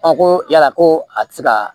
ko yala ko a tɛ se ka